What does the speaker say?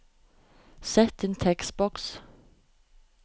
Sett inn tekstboks